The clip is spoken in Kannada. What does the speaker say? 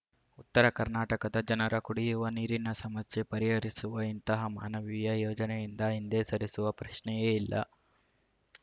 ಉತ್ತರ ಕರ್ನಾಟಕದ ಜನರ ಕುಡಿಯುವ ನೀರಿನ ಸಮಸ್ಯೆ ಪರಿಹರಿಸುವ ಇಂತಹ ಮಾನವೀಯ ಯೋಜನೆಯಿಂದ ಹಿಂದೆ ಸರಿಯುವ ಪ್ರಶ್ನೆಯೇ ಇಲ್ಲ